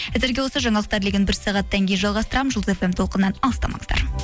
әзірге осы жаңалықтар легін бір сағаттан кейін жалғастырамын жұлдыз фм толқынынан алыстамаңыздар